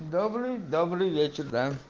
добрый добрый вечер да